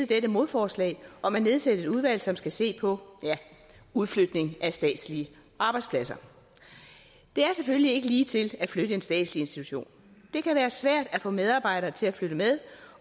dette modforslag om at nedsætte et udvalg som skal se på ja udflytning af statslige arbejdspladser det er selvfølgelig ikke lige til at flytte en statslig institution det kan være svært at få medarbejdere til at flytte med